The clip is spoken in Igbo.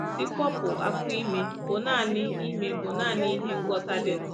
nsikwopụ afọ ime bụ nanị ime bụ nanị ihe ngwọta dịnụ